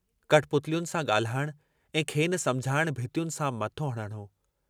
कठपुतलियुनि सां गाल्हाइण ऐं खेनि समुझाइण भितियुनि सां मथो हणणु हो।